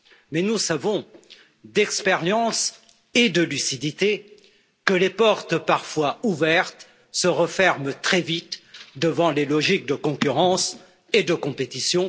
Mais nous savons, d'expérience et de lucidité, que les portes parfois ouvertes se referment très vite devant les logiques de concurrence et de compétition.